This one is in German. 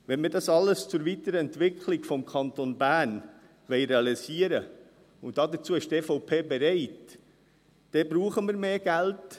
Wenn wir all dies zur Weiterentwicklung des Kantons Bern realisieren wollen – und die EVP ist dazu bereit –, brauchen wir mehr Geld.